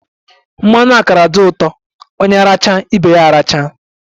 Mmanụ akara di ụtọ, onye racha ibe ya aracha